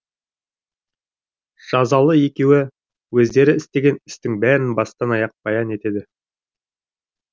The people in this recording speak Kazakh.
жазалы екеуі өздері істеген істің бәрін бастан аяқ баян етеді